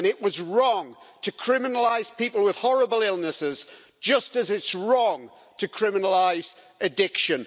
It is wrong to criminalise people with horrible illnesses, just as it's wrong to criminalise addiction.